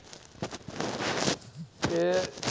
કે